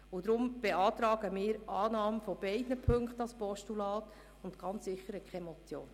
Deshalb beantragt der Regierungsrat die Annahme beider Punkte als Postulat und nicht als Motion.